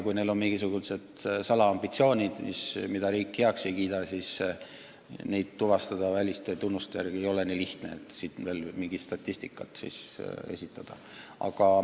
Kui neil on mingisugused salaambitsioonid, mida riik heaks ei kiida, siis neid väliste tunnuste järgi tuvastada ei ole nii lihtne, et selle põhjal saaks mingit statistikat esitada.